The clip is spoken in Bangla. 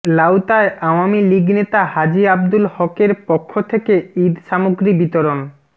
লাউতায় আওয়ামী লীগ নেতা হাজী আব্দুল হক এর পক্ষ থেকে ঈদ সামগ্রী বিতরণ